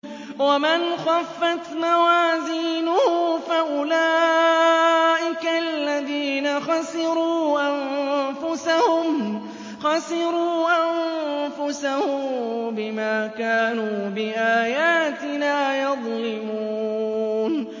وَمَنْ خَفَّتْ مَوَازِينُهُ فَأُولَٰئِكَ الَّذِينَ خَسِرُوا أَنفُسَهُم بِمَا كَانُوا بِآيَاتِنَا يَظْلِمُونَ